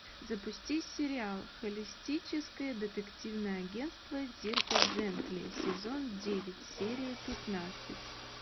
запусти сериал холистическое детективное агентство дирка джентли сезон девять серия пятнадцать